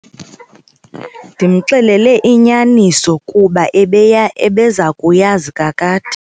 Ndimxelele inyaniso kuba ebeya ebeza kuyazi kakade.